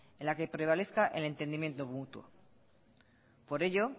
en la que prevalezca el entendimiento mutuo por ello